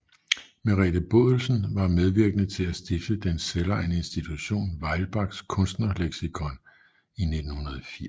Merete Bodelsen var medvirkende til at stifte Den selvejende institution Weilbachs Kunstnerleksikon i 1980